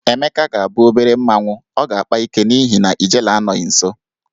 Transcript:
Emeka ga-abụ obere mmanwụ, ọ ga-akpa ike n'ihi na ijele anọghị nso.